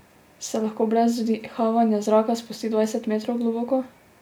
Se lahko brez vdihavanja zraka spusti dvajset metrov globoko?